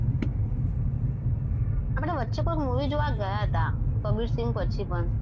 આપણે વચ્ચે કંઈક movie જોવા ગયા હતા કબીરસિંહ પછી પણ